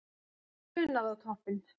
Brunað á toppinn